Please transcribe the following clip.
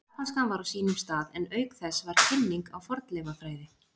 Japanskan var á sínum stað en auk þess var kynning á fornleifafræði.